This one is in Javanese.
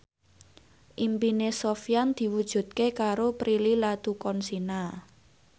impine Sofyan diwujudke karo Prilly Latuconsina